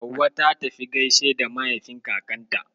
Hauwa ta tafi gaishe da mahaifin kakanta.